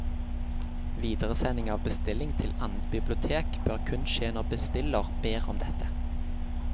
Videresending av bestilling til annet bibliotek bør kun skje når bestiller ber om dette.